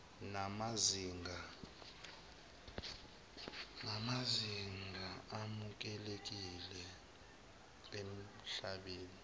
namazinga amukelekile emhlabeni